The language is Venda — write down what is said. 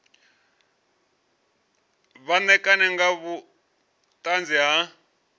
vha ṋekane nga vhuṱanzi ha